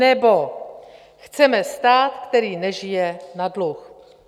Nebo: "Chceme stát, který nežije na dluh."